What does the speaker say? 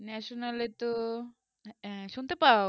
national এ তো শুনতে পাও